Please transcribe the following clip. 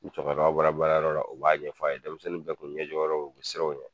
Ni cɔkɔrɔba bɔra baarayɔrɔ la u b'a ɲɛf'a ye denmisɛnnin bɛɛ kun ɲɛjɔ yɔrɔ o ye o bɛ siron o ɲɛ.